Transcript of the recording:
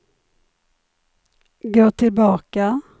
gå tillbaka